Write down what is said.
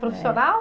Profissional?